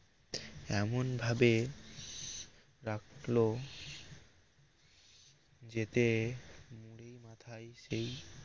এমন ভাবে রাখল যেতে সেই